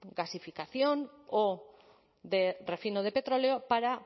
gasificación o de refino de petróleo para